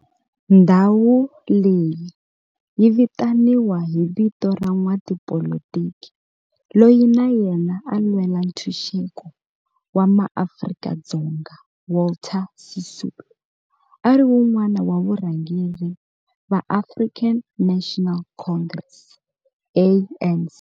Ndhawu leyi yi vitaniwa hi vito ra n'watipolitiki loyi na yena a lwela ntshuxeko wa maAfrika-Dzonga Walter Sisulu, a ri wun'wana wa varhangeri va African National Congress, ANC.